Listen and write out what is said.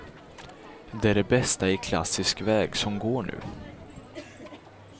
Det är det bästa i klassisk väg som går nu.